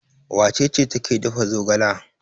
Wace ce take dafa zogala?